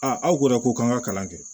aw ko dɛ ko k'an ka kalan kɛ